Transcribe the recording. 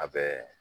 A bɛ